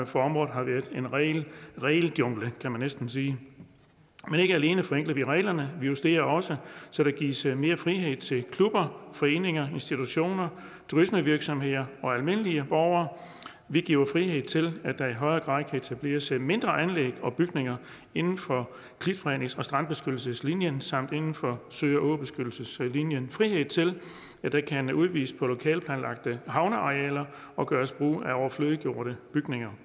for området har været en ren regeljungle kan man næsten sige men ikke alene forenkler vi reglerne vi justerer også så der gives mere frihed til klubber foreninger institutioner turismevirksomheder og almindelige borgere vi giver frihed til at der i højere grad kan etableres mindre anlæg og bygninger inden for klitfrednings og strandbeskyttelseslinjen samt inden for sø og åbeskyttelseslinjen og frihed til at der kan udvides på lokalt planlagte havnearealer og gøres brug af overflødiggjorte bygninger